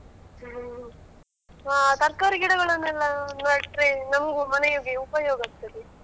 ಹ್ಮ್ ಹಾ ತರಕಾರಿ ಗಿಡಗಳನ್ನು ಎಲ್ಲಾ ನೆಟ್ರೆ ನಮ್ಗೂ ಮನೆಯೊಗೆ ಉಪಯೋಗ ಆಗ್ತದೆ.